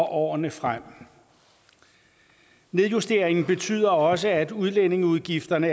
årene frem nedjusteringen betyder også at udlændingeudgifterne